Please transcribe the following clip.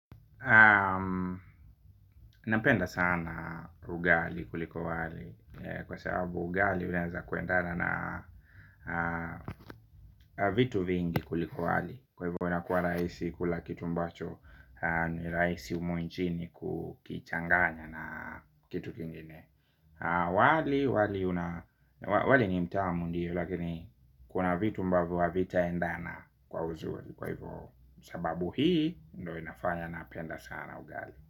Napenda sana ugali kuliko wali. Kwa sababu ugali unaeza kuendana na vitu vingi kuliko wali. Kwa hivyo inakua rahisi kula kitu ambacho ni rahisi humu nchini kukichanganya na kitu kingine. Wali ni mtamu ndiyo. Lakini kuna vitu ambavyo havitaendana kwa uzuri. Kwa hivyo sababu hii ndo inafanya napenda sana ugali.